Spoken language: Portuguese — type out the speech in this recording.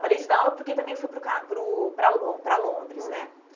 Parei de dar aula porque também fui para o Ca para o para Lon para Londres né. Uhum